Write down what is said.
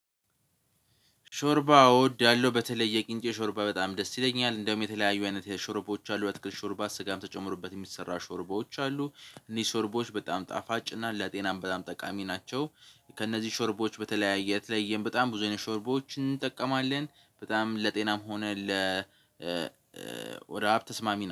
ሾርባ እወዳያለው በተለይ የቅንጨ ሾርባ በጣም ደስ ይለኛል እንደውም የተለያዩ አይነት ሾርባዎች አሉ በትክክል ሾርባ ስጋም ተጨምሮበት የሚሰራ ሾርባዎች አሉ እነዚህ ሾርባዎች በጣም ጣፋጭና ለጤናም በጣም ጠቃሚ ናቸው። ከእነዚህ ሾርቦዎች በተለያየ በጣም ብዙ አይነት ሾርቦዎችን እንጠቀማለን። በጣም ለጤናም ሆነ ለ ወደ ሀብት ተስማሚ ነው